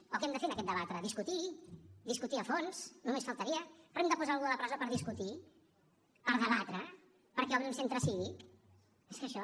o que hem de fer en aquest debat ara discutir discutir a fons només faltaria però hem de posar algú a la presó per discutir per debatre perquè obri un centre cívic és que això